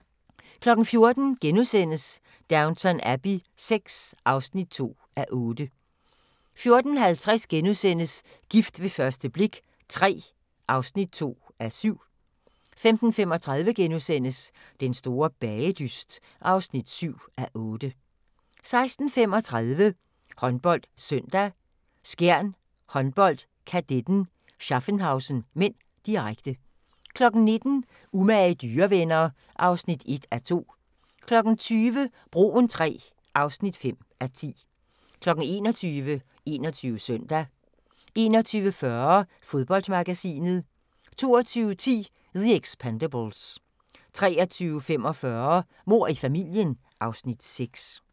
14:00: Downton Abbey VI (2:8)* 14:50: Gift ved første blik III (2:7)* 15:35: Den store bagedyst (7:8)* 16:35: HåndboldSøndag: Skjern Håndbold-Kadetten Schaffhausen (m), direkte 19:00: Umage dyrevenner (1:2) 20:00: Broen III (5:10) 21:00: 21 Søndag 21:40: Fodboldmagasinet 22:10: The Expendables 23:45: Mord i familien (Afs. 6)